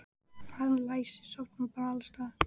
Hann Lási sofnar bara alls staðar.